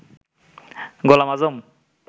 Golam Azam